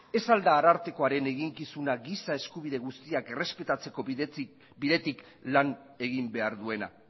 ez ahal da arartekoaren eginkizuna giza eskubide guztiak errespetatzeko bidetik lan egin behar duena